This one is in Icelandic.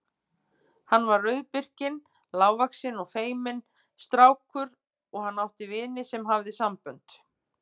Hann var rauðbirkinn, lágvaxinn og feiminn strákur og hann átti vin sem hafði sambönd.